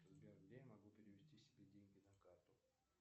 сбер где я могу перевести себе деньги на карту